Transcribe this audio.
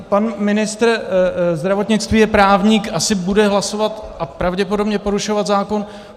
Pan ministr zdravotnictví je právník, asi bude hlasovat a pravděpodobně porušovat zákon.